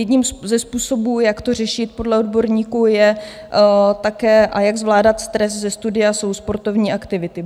Jedním ze způsobů, jak to řešit podle odborníků, je také, a jak zvládat stres ze studia, jsou sportovní aktivity.